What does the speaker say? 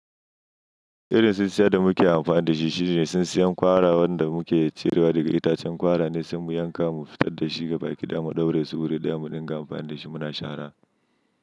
Irin su tsintsiyar da muke amfani da shi shine tsintsiyar kwara wanda muke cirewa daga itacen kwara ne, sai mu yanka mu fitar da shi ga baki ɗaya mu ɗaure su wuri ɗaya mu ɗinga amfani da shi muna shara.